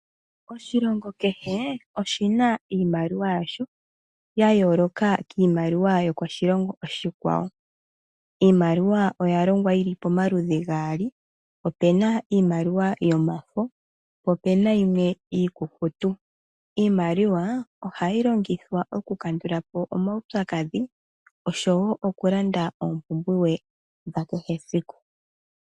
Oshilongo keshe oshina iimaliwa yasho ya yoloka kimaliwa yomoshilongo oshikwawo . Iimaliwa oya longwa yili pamaludhi gaali, opena iimaliwa yomafo po opena iimaliwa iikukutu . Iimaliwa ohayi longithwa oku kandulapo omawu pyakadhi oshowo oku landa ompumbwe dha keshe esiku.